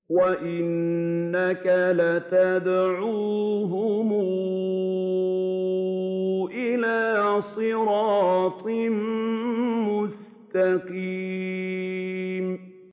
وَإِنَّكَ لَتَدْعُوهُمْ إِلَىٰ صِرَاطٍ مُّسْتَقِيمٍ